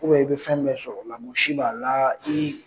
i bɛ fɛn dɔ sɔrɔ lamusi b'a la i